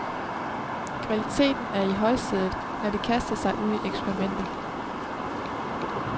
Kvaliteten er i højsædet, når de kaster sig ud i eksperimenter.